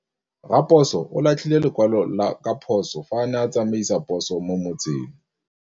Raposo o latlhie lekwalô ka phosô fa a ne a tsamaisa poso mo motseng.